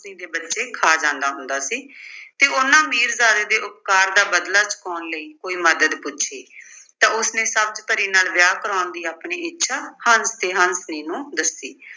ਹੰਸਣੀ ਦੇ ਬੱਚੋੇ ਖਾ ਜਾਂਦਾ ਹੁੰਦਾ ਸੀ ਤੇ ਉਨ੍ਹਾਂ ਮੀਰਜ਼ਾਦੇ ਦੇ ਉੱਪਕਾਰ ਦਾ ਬਦਲਾ ਚੁਕਾਉਣ ਲਈ ਕੋਈ ਮੱਦਦ ਪੁੱਛੀ ਤਾਂ ਉਸਨੇ ਸਬਜ਼ ਪਰੀ ਨਾਲ ਵਿਆਹ ਕਰਾਉਣ ਦੀ ਆਪਣੀ ਇੱਛਾ ਹੰਸ ਤੇ ਹੰਸਣੀ ਨੂੰ ਦੱਸੀ।